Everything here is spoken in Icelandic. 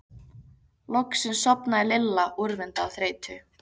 Loksins sofnaði Lilla úrvinda af þreytu.